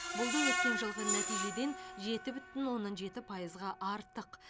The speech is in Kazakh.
бұл да өткен жылғы нәтижеден жеті бүтін оннан жеті пайызға артық